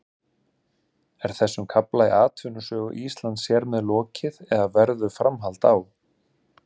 Er þessum kafla í atvinnusögu Íslands hér með lokið eða verður framhald á?